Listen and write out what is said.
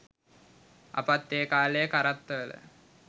අපත් ඒ කාලේ කරත්තවල